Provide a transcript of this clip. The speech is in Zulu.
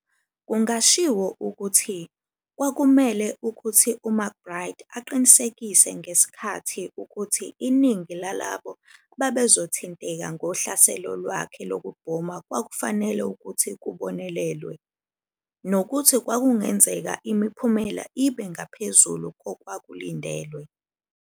Kungashiwo ukuthi, kwakumele ukuthi uMcBride aqinisekise ngesikhathi ukuthi iningi lalabo ababezothinteka ngohlaselo lwakhe lokubhoma kwakufanele ukuthi kubonelelwe, nokuthi kwakungenzeka imiphumela ibe ngaphezulu kokwakulindelwe."